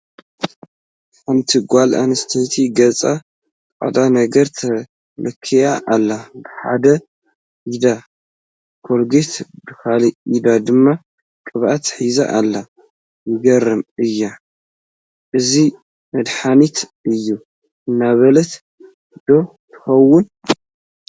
ሓንቲ ጓል ኣነስተይቲ ገፃ ፃዕዳ ነገር ተለኽያ ኣላ፡፡ ብሓደ ኢዳ ኮልጌት ብኻልእ ኢዳ ድማ ቅብኣት ሒዛ ኣላ፡፡ የግርም እዩ፡፡ እዚ መድሓኒት እዩ እናበለት ዶ ትኸውን፡፡